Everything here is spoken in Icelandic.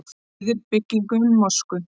Styður byggingu mosku